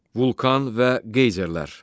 Vulcan və qeyzerlər.